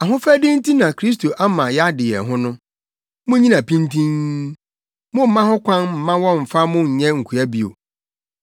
Ahofadi nti na Kristo ama yɛade yɛn ho no. Munnyina pintinn. Mommma ho kwan mma wɔmmfa mo nyɛ nkoa bio.